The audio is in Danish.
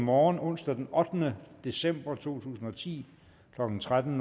morgen onsdag den ottende december to tusind og ti klokken tretten